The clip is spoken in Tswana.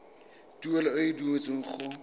tuelo e e duetsweng go